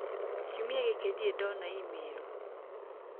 kiumia gĩkĩ ndirĩ ndona email